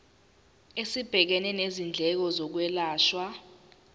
esibhekene nezindleko zokwelashwa